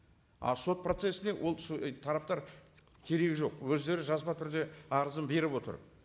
а сот процессіне ол тараптар керегі жоқ өздері жазба түрде арызын беріп отыр